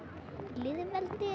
lýðveldi